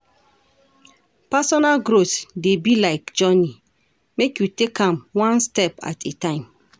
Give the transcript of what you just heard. Personal growth dey be like journey, make you take am one step at a time.